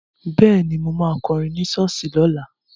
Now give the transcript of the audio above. Bẹ́ẹ̀ni, mo ma kọrin ní ṣọ́ọ̀ṣì lọ́la